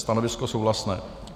Stanovisko souhlasné.